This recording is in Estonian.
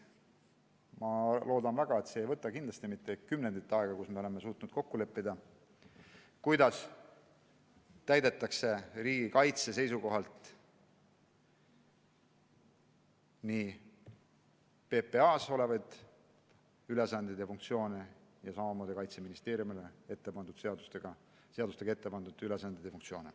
Ma loodan väga, et see ei võta mitte kümme aastat aega, et me suudaksime kokku leppida, kuidas täidetakse ülesandeid riigikaitse seisukohalt – nii PPA ees olevaid ülesandeid kui ka Kaitseministeeriumile seadustega pandud ülesandeid.